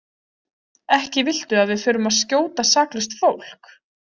Ekki viltu að við förum að skjóta saklaust fólk?